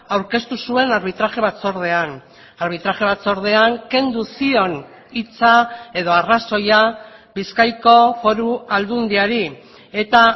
aurkeztu zuen arbitraje batzordean arbitraje batzordean kendu zion hitza edo arrazoia bizkaiko foru aldundiari eta